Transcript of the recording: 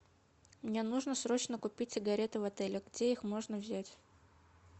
мне нужно срочно купить сигареты в отеле где их можно взять